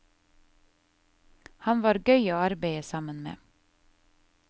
Han var gøy å arbeide sammen med.